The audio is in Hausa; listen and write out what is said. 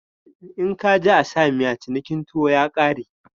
In ka ji a sa miya cinikin tuwo ya kare.